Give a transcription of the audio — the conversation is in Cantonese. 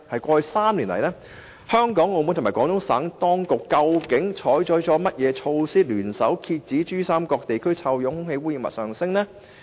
過去3年來，香港、澳門和廣東省當局究竟採取了甚麼措施，聯手遏止珠三角地區臭氧濃度上升呢？